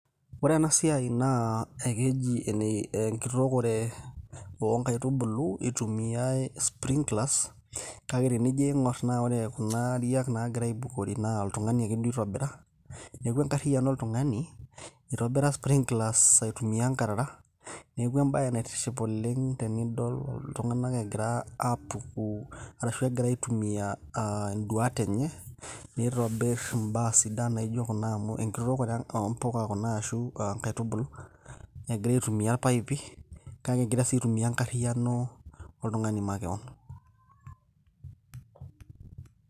ore ena siai naa ekeji ene enkitookore oonkaitubulu itumiyae sprinklers kake tenijo aing'orr naa ore kuna ariak naagira aibukori naa oltung'ani ake duo oitobira neeku enkarriyiano oltung'ani itobira sprinklers aitumia inkarara neeku embaye naitiship oleng tenidol iltung'anak egira aapuku arashu egira aitumiyia aa induat enye nitobirr imbaa sidan naijo kuna amu enkitookore oo mpuka kuna ashu inkaitubulu egira aitumiyia irpaipi kake egira sii aitumia enkarriyiano oltung'ani makewon.